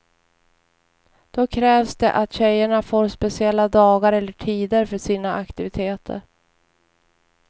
Då krävs det att tjejerna får speciella dagar eller tider för sina aktiviteter.